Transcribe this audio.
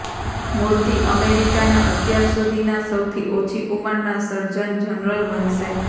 મૂર્તિ અમેરિકાના અત્યાર સુધીના સૌથી ઓછી ઉંમરના સર્જન જનરલ બનશે